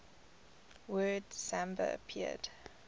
word samba appeared